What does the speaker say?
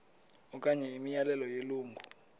okanye imiyalelo yelungu